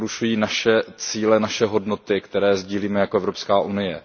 Porušují naše cíle, naše hodnoty, které sdílíme jako Evropská unie.